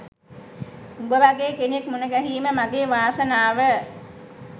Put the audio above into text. උඹ වගේ කෙනෙක් මුණගැහීම මගේ වාසනාව